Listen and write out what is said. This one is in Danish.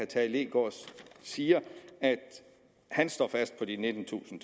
tage leegaard siger at han står fast på de nittentusind